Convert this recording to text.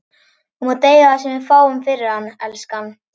Þú mátt eiga það sem við fáum fyrir hann, elskan.